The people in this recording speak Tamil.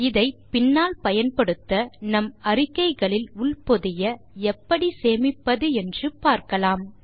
இதை பின்னால் பயன்படுத்த நம் அறிக்கைகளில் உள்பொதிய எப்படி சேமிப்பது என்று பார்க்கலாம்